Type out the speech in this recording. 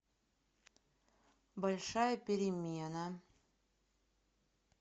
большая перемена